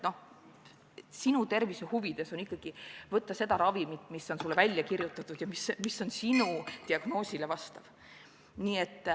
Sinu tervise huvides on võtta ikkagi seda ravimit, mis on sulle välja kirjutatud ja mis vastab sinu diagnoosile.